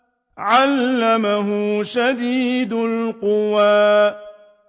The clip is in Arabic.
عَلَّمَهُ شَدِيدُ الْقُوَىٰ